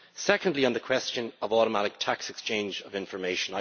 Secondly, on the question of automatic tax exchange of information.